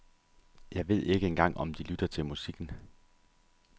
Jeg ved ikke engang om de lytter til musikken.